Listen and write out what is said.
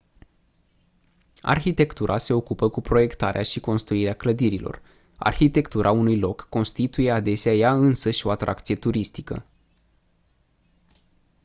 arhitectura se ocupă cu proiectarea și construirea clădirilor arhitectura unui loc constituie adesea ea însăși o atracție turistică